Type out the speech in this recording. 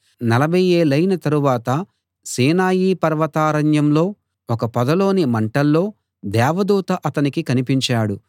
నలభై ఏళ్ళయిన తరువాత సీనాయి పర్వతారణ్యంలో ఒక పొదలోని మంటల్లో దేవదూత అతనికి కనిపించాడు